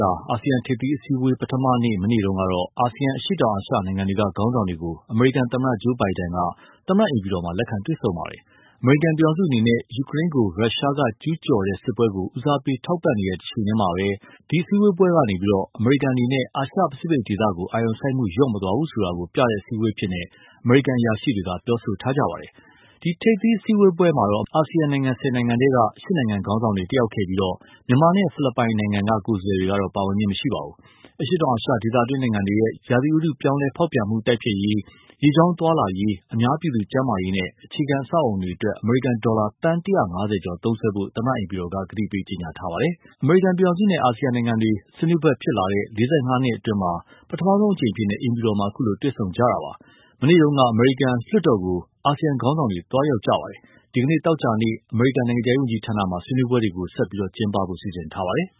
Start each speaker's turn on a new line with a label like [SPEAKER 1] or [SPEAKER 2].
[SPEAKER 1] ြာ အာဆီယံ ထိပ်သီးစည်းအဝေးပွဲပထမနေ့ မနေ့က အာဆီယံ အရှေ့တောင်အာရှ နိုင်ငံတွေက ခေါင်းဆောင်တွေကို အမေရိကန်သမ္မတ Joe Biden က သမ္မတအိမ်ဖြူတော်မှာ လက်ခံတွေ့ဆုံခဲ့ပါတယ်။ အမေရိကန် ပြည်ထောင်စုအနေနဲ့ ယူကရိန်းကို ရှရှားက ကျုးကျော်တဲ့စစ်ပွဲကို ဦးစားပေးထောက်ပံ့နေတဲ့အချိန်မှာ ဒီစည်းဝေးပွဲက အမေရိကန်အနေနဲ့ အာရှပစိဖိတ်ဒေသကို အာရုံစိုက်မှု လျော့မသွားဘူးဆိုတာ ပြသတဲ့အစည်အဝေးအဖြစ် အမေရိကန်အရာရှိတွေ ပြောဆိုထားကြပါတယ်။ ဒီထိပ်သီး စည်းဝေးပွဲမှာ အာဆီယံနိုင်ငံ ၁၀ နိုင်ငံထဲက ၈ နိုင်ငံ ခေါင်းဆောင်တွေ တက်ရောက်ခဲ့ပြီး မြန်မာနိုင်ငံနဲ့ ဖိလစ် ပိုင်နိုင်ငံက ကိုယ်စားလှယ်တွေတော့ ပါဝင်ခြင်း မရှိပါဘူး။ အရှေ့တောင်အာရှ ဒေသတွင်းနိုင်ငံတွေရဲ့ ရာသီဥတု ပြောင်းလဲဖေါက်ပြန်မှု တိုက်ဖျက်ရေး၊ ရေကြောင်းသွားလာရေး၊ အများပြည်သူ့ကျန်းမာရေးနဲ့ အခြေခံအဆောက်အအုံအတွက် အမေရိကန် ဒေါ်လာ သန်း ၁၅၀ ကျော် သုံးစွဲဖို့ သမ္မတအိမ်ဖြူတော်က ကြေညာပါတယ်။ အမေရိကန် ပြည်ထောင်စု အာဆီယံနိုင်ငံတွေနဲ့ ဆွေးနွေးဘက်ဖြစ်လာတဲ့ ၄၅ နှစ်အတွင်းမှာ ပထမဆုံးအကြိမ် အိမ်ဖြူတော်မှာ အခုလို တွေ့ဆုံကြတာပါ။ မနေ့က အမေရိကန်လွှတ်တော်ကိုလည်း အာဆီယံခေါင်းဆောင်တွေ သွားရေက်ပါတယ်။ ဒီနေ့ သောကြာနေ့ အမေရိကန် နိုင်ငံခြားရေး ဝန်ကြီးဌာနမှာ ဆွေးနွေးပွဲတွေ ပိုပြီး ကျင်းပဖို့ စီစဉ်ထားကြပါတယ်။